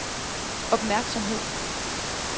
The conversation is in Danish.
opmærksomhed